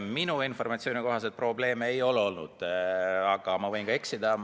Minu informatsiooni kohaselt probleeme ei ole olnud, aga ma võin ka eksida.